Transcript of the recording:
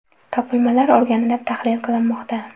Topilmalar o‘rganilib, tahlil qilinmoqda.